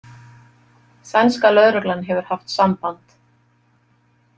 Sænska lögreglan hefur haft samband.